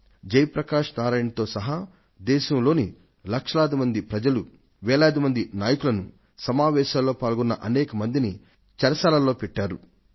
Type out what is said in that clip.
జయప్రకాశ్ నారాయణ్ తో సహా దేశంలోని లక్షలాది ప్రజలను వేలాది నాయకులను సమావేశాలలో పాల్గొన్న అనేక మందిని కారాగారం ఊచల వెనుకకు నెట్టివేశారు